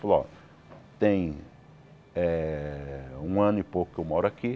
Falou, ó. Tem eh um ano e pouco que eu moro aqui.